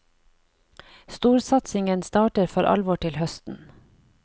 Storsatsingen starter for alvor til høsten.